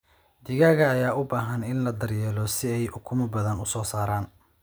Digaagga ayaa u baahan in la daryeelo si ay ukumo badan u soo saaraan.